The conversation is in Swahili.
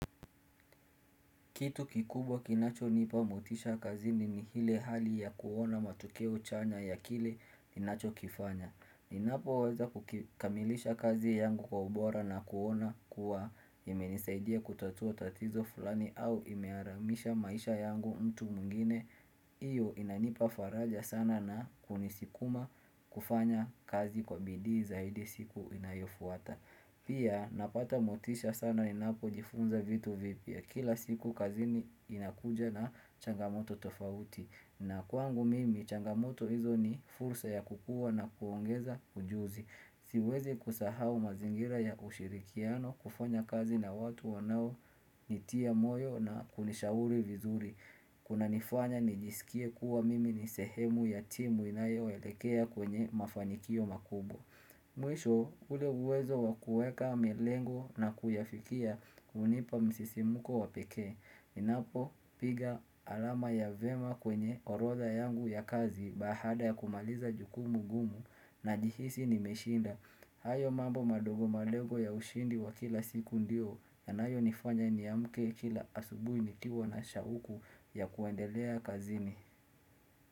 Kitu kikubwa kinachonipa motisha kazini ni hile hali ya kuona matokeo chanya ya kile ninachokifanya. Ninapoweza kukamilisha kazi yangu kwa ubora na kuona kuwa yamenisaidia kutatua tatizo fulani au imearamisha maisha yangu mtu mungine. Iyo inanipa faraja sana na kunisikuma kufanya kazi kwa bidii zaidi siku inayofuata. Pia napata motisha sana ninapojifunza vitu vipya kila siku kazini inakuja na changamoto tofauti. Na kwangu mimi changamoto hizo ni fursa ya kukua na kuongeza ujuzi. Siwezi kusahau mazingira ya ushirikiano kufanya kazi na watu wanaonitia moyo na kunishauri vizuri. Kunanifanya nijisikie kuwa mimi ni sehemu ya timu inayoelekea kwenye mafanikio makubwa. Mwisho ule uwezo wakueka melengo na kuyafikia hunipa msisimko wa pekee Ninapopiga alama ya vema kwenye orodha yangu ya kazi bahada ya kumaliza jukumu gumu najihisi nimeshinda hayo mambo madogo madogo ya ushindi wa kila siku ndio yanayo nifanya niamke kila asubui nikiwa na shauku ya kuendelea kazini.